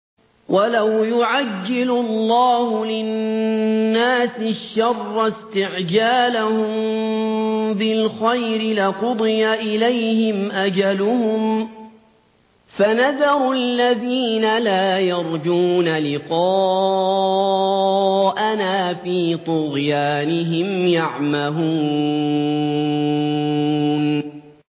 ۞ وَلَوْ يُعَجِّلُ اللَّهُ لِلنَّاسِ الشَّرَّ اسْتِعْجَالَهُم بِالْخَيْرِ لَقُضِيَ إِلَيْهِمْ أَجَلُهُمْ ۖ فَنَذَرُ الَّذِينَ لَا يَرْجُونَ لِقَاءَنَا فِي طُغْيَانِهِمْ يَعْمَهُونَ